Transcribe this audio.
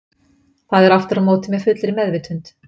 Það er aftur á móti með fullri meðvitund.